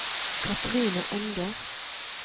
Kathrine Enger